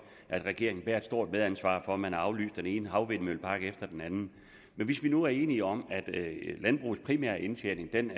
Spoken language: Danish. at regeringen bærer et stort medansvar for at man har aflyst den ene havvindmøllepark efter den anden men hvis vi nu er enige om at landbrugets primære indtjening